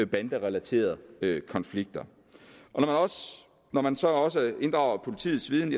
banderelaterede konflikter når man så også inddrager politiets viden